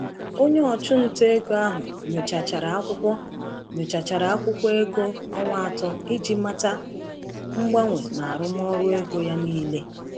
Onye ọchụnta ego ahụ nyochachara akwụkwọ nyochachara akwụkwọ ego ọnwa atọ iji mata mgbanwe n’arụmọrụ ego ya niile.